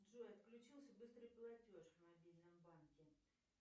джой отключился быстрый платеж в мобильном банке